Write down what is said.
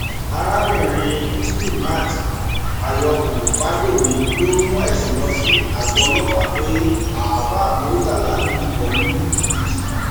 arábìnrin muslimat àyókù fagbemi ló mú ẹsùn lọ sí àgọ ọlọpàá pé àáfà murità lu òun ní jìbìtì